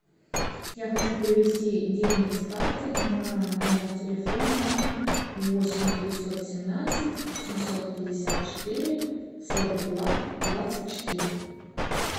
я хочу перевести деньги с карты на номер телефона восемь девятьсот семнадцать семьсот пятьдесят четыре сорок два двадцать четыре